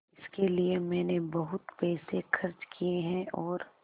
इसके लिए मैंने बहुत पैसे खर्च किए हैं और